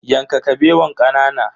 Yanka Kabewan kanana.